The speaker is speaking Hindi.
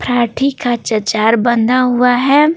पारार्ठी का चचार बंधा हुआ है।